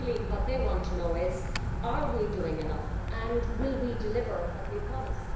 Really what they want to know is are we doing enough and will we deliver what we promise?